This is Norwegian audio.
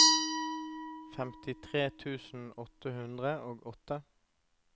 femtitre tusen åtte hundre og åtte